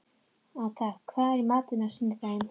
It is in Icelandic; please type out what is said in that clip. Agatha, hvað er í matinn á sunnudaginn?